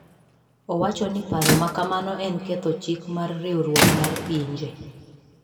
Owacho ni paro makamano en ketho chik mar Riwruok mar Pinje.